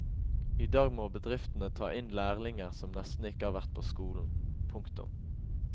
I dag må bedriftene ta inn lærlinger som nesten ikke har vært på skolen. punktum